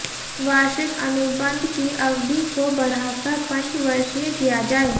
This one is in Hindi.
वार्षिक अनुबंध की अवधि को बढ़ाकर पंचवर्षीय किया जाये